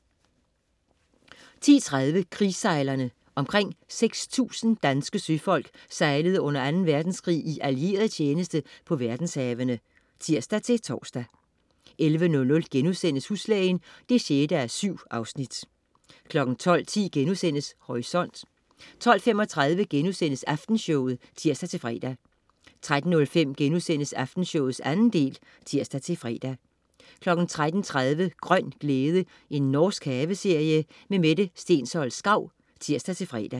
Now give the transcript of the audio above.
10.30 Krigssejlerne. Omkring 6.000 danske søfolk sejlede under 2. verdenskrig i allieret tjeneste på verdenshavene (tirs-tors) 11.00 Huslægen 6:7* 12.10 Horisont* 12.35 Aftenshowet* (tirs-fre) 13.05 Aftenshowet 2. del* (tirs-fre) 13.30 Grøn glæde. Norsk haveserie. Mette Stensholt Schau (tirs-fre)